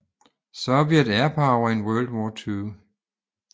Soviet Airpower in World War II